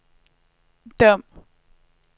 Dom